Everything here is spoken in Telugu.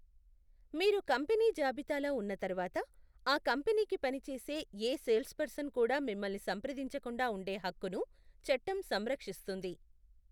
మీరు కంపెనీ జాబితాలో ఉన్న తరువాత, ఆ కంపెనీకి పనిచేసే ఏ సేల్స్పర్సన్ కూడా మిమ్మల్ని సంప్రదించకుండా ఉండే హక్కును చట్టం సంరక్షిస్తుంది.